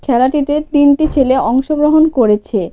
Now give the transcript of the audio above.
খেলাটিতে তিনটি ছেলে অংশগ্রহণ করেছে.